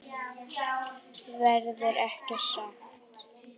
Verður ekki sagt.